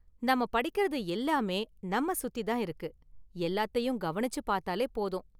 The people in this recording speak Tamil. நம்ம படிக்கிறது எல்லாமே நம்மை சுத்தி தான் இருக்கு, எல்லாத்தையும் கவனிச்சுப் பார்த்தாலே போதும்.